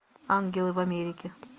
ангелы в америке